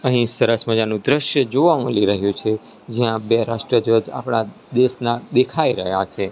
અહીં સરસ મજાનુ દ્રશ્ય જોવા મલી રહ્યુ છે જ્યાં બે રાષ્ટ્રીય ધ્વજ આપડા દેશના દેખાય રહ્યા છે.